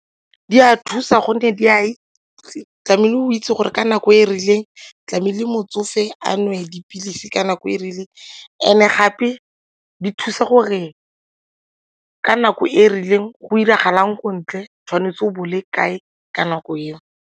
Di a thusa gonne tlamehile go itse gore ka nako e rileng tlamehile motsofe a nwe dipilisi ka nako e e rileng and-e gape di thusa gore ka nako e e rileng go diragala eng ko ntle, tshwanetse go bo o le kae ka nako eo.